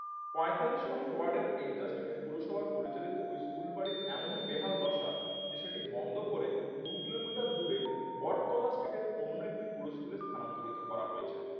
পঁয়তাল্লিশ নম্বর ওয়ার্ডের এজরো street এ পুরসভার পরিচালিত ওই স্কুলবাড়ির এমনই বেহাল দশা যে সেটি বন্ধ করে দু কিলোমিটার দূরে বটতলা street অন্য একটি পুরো স্কুলের স্থানান্তরিত করা হয়